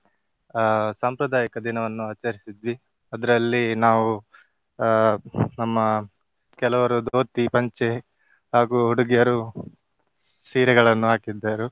ಅಹ್ ಸಾಂಪ್ರದಾಯಿಕ ದಿನವನ್ನು ಆಚರಿಸಿದ್ವಿ ಅದ್ರಲ್ಲಿ ನಾವು ಅಹ್ ನಮ್ಮ ಕೆಲವರು ಧೋತಿ, ಪಂಚೆ ಹಾಗೂ ಹುಡುಗಿಯರು ಸೀರೆಗಳನ್ನು ಹಾಕಿದ್ದರು.